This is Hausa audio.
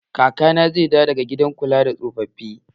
Kakana zai dawo daga gidan kula da tsofaffi